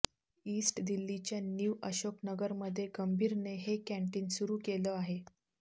east दिल्लीच्या new Ashok नगरमध्ये गंभीरने हे कॅन्टीन सुरू केलं आहे